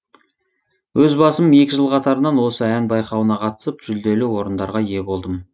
өз басым екі жыл қатарынан осы ән байқауына қатысып жүлделі орындарға ие болдым